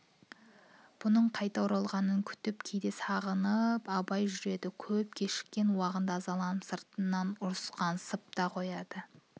бұның қайта оралғанын күтіп кейде сағынып абай жүреді көп кешіккен уағында ызаланып сыртынан ұрысқансып та қоятын